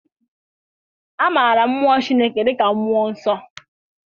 A maara mụọ Chineke dịka Mmụọ Nsọ.